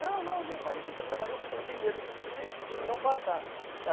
Não, não, meu marido nunca trabalhou porque ela tem medo de dizer e não passar.